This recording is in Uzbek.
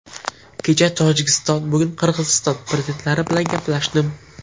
Kecha Tojikiston, bugun Qirg‘iziston prezidentlari bilan gaplashdim.